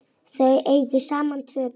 Þau eiga saman tvö börn.